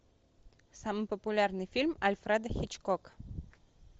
самый популярный фильм альфреда хичкок